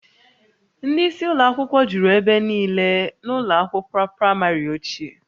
Ndị isi ụlọ akwụkwọ juru ebe niile na ụlọ akwụkwọ praịmarị ochie